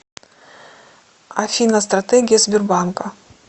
афина стратегия сбербанка